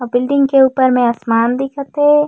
आऊ बिल्डिंग के ऊपर म आसमान दिखत हे।